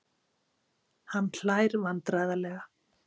Hann hlær vandræðalega.